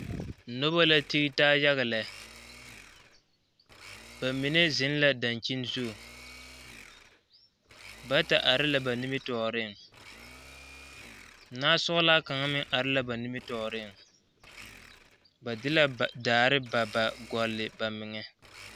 Noba la dii taa yaga lɛ ba mine zeŋ la dakyini zu bata are la ba nimitɔɔreŋ nasɔglaa ka meŋ ba de la daare ba ba gɔle ba meŋɛ.